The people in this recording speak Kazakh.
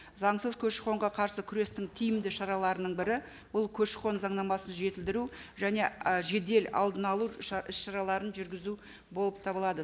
заңсыз көші қонға қарсы күрестің тиімді шараларының бірі бұл көші қон заңнамасын жетілдіру және і жедел алдын алу іс шараларын жүргізу болып табылады